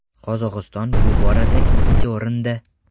Qozog‘iston bu borada ikkinchi o‘rinda.